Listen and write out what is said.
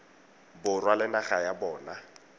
borwa le naga ya bona